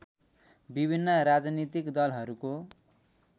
विभिन्न राजनीतिक दलहरूको